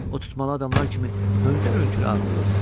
O tutmalı adamlar kimi hönkür-hönkür ağlayırdı.